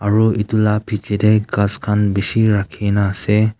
aro etu la bechidae ghas khan beshi rakhina ase.